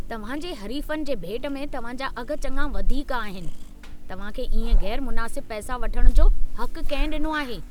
तव्हां जे हरीफ़नि जे भेट में तव्हां जा अघ चङा वधीक आहिनि। तव्हां खे इएं ग़ैरु मुनासिब पैसा वठण जो हक़ु कंहिं ॾिनो आहे?